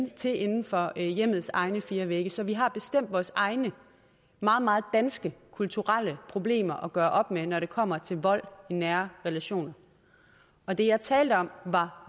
til inden for hjemmets egne fire vægge så vi har bestemt vores egne meget meget danske kulturelle problemer at gøre op med når det kommer til vold i nære relationer og det jeg talte om var